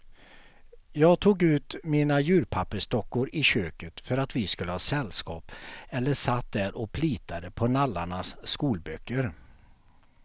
Jag tog ut mina djurpappersdockor i köket för att vi skulle ha sällskap eller satt där och plitade på nallarnas skolböcker.